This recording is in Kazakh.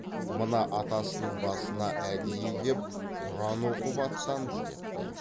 мына атасының басына әдейі кеп құран оқып аттанды депті